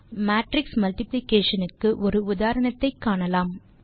இப்போது matrix multiplication க்கு ஒரு உதாரணத்தை காணலாம்